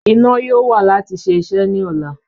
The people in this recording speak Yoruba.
Iná yóò wà láti ṣe iṣẹ́ ní ọ̀la